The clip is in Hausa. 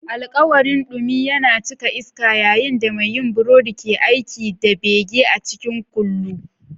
Alkawarin dumi yana cika iska yayin da mai yin burodi ke aiki da bege a cikin kullu.